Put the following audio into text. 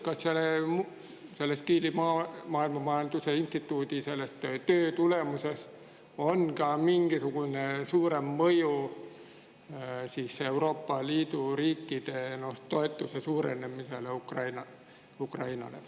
Kas selle Kieli maailmamajanduse instituudi töö tulemusel on oodata ka mingisugust suuremat mõju, nimelt Euroopa riikide toetuse suurenemist Ukrainale?